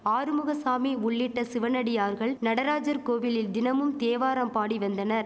ஆறுமுகசாமி உள்ளிட்ட சிவனடியார்கள் நடராஜர் கோவிலில் தினமும் தேவாரம் பாடி வந்தனர்